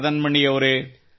ಮದನ್ ಮಣಿ ಅವರೆ